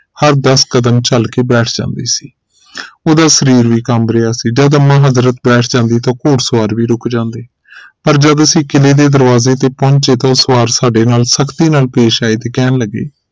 ਹਰ ਦਸ ਕਦਮ ਚਲ ਕੇ ਬੈਠ ਜਾਂਦੀ ਸੀ ਉਹਦਾ ਸਰੀਰ ਵੀ ਕੰਬ ਰਿਹਾ ਸੀ ਜਦੋ ਅੰਮਾ ਹਜ਼ਰਤ ਬੈਠ ਜਾਂਦੀ ਤਾਂ ਘੁੜਸਵਾਰ ਵੀ ਰੁਕ ਜਾਂਦੇ ਪਰ ਜਦੋ ਅਸੀਂ ਕਿਲੇ ਦੇ ਦਰਵਾਜ਼ੇ ਤੇ ਪਹੁੰਚੇ ਤਾਂ ਉਹ ਸਵਾਰ ਸਾਡੇ ਨਾਲ ਸਖਤੀ ਨਾਲ ਪੇਸ਼ ਆਏ ਤੇ ਕਹਿਣ ਲਗੇ